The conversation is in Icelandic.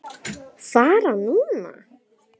Fara núna?